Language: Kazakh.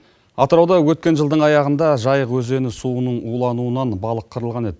атырауда өткен жылдың аяғында жайық өзені суының улануынан балық қырылған еді